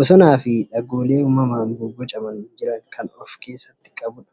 bosonaafi dhagoolee uummamaan bobbocamanii jiran kan of irraa isstii qabudha.